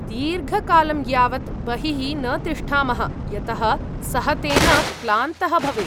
दीर्घकालं यावत् बहिः न तिष्ठामः, यतः सः तेन क्लान्तः भवेत्।